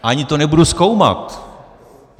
Ani to nebudu zkoumat.